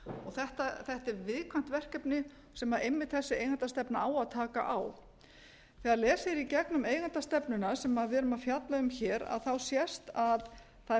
þetta er viðkvæmt verkefni sem einmitt þessi eigendastefna á að taka á þegar lesið er í gegnum eigendastefnuna sem við erum að fjalla um hér sést að það er verið að reyna